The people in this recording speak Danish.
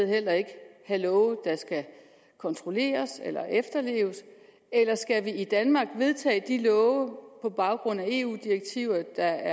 heller ikke have love der skal kontrolleres eller efterleves eller skal vi i danmark vedtage de love på baggrund af eu direktiver